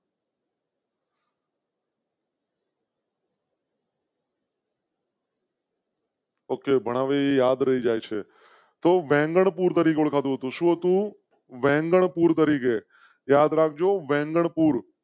Okay બનાવી યાદ રહી જાય છે તો બંગલપુર તરીકે ઓળખાતો શું? વેંગલપુર તરીકે યાદ રાખ જો વેંગણ પુર.